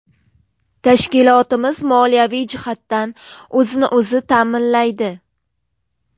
Tashkilotimiz moliyaviy jihatdan o‘zini-o‘zi ta’minlaydi.